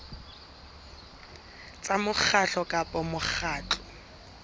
tsa mokgatlo kapa mokgatlo wa